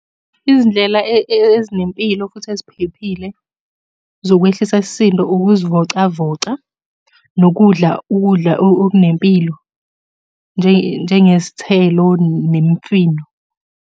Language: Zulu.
Izindlela ezinempilo futhi eziphephile zokwehlisa isisindo, ukuzivocavoca, nokudla ukudla okunempilo, njengezithelo nemifino.